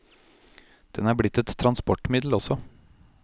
Den er blitt et transportmiddel også.